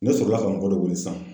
Ne sɔrɔ la ka mɔgɔ dɔ wele sisan.